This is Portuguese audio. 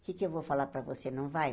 O que é que eu vou falar para você, não vai?